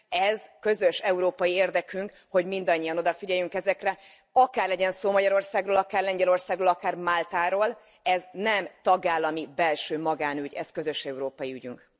Ez közös európai érdekünk, hogy mindannyian odafigyelünk ezekre, legyen szó akár Magyarországról, akár Lengyelországról, akár Máltáról, ez nem tagállami belső magánügy, ez közös európai ügyünk.